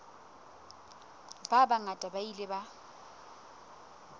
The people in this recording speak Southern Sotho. ba bangata ba ile ba